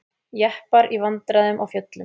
Jeppar í vandræðum á fjöllum